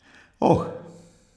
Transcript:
Oh!